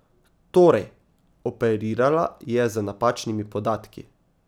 Torej, operirala je z napačnimi podatki.